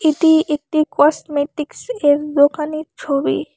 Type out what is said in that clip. এটি একটি কসমেটিক্সের দোকানের ছবি।